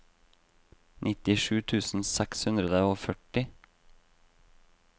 nittisju tusen seks hundre og førti